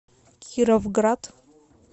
кировград